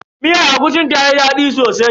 Miyar agushin tayi daɗi sosai.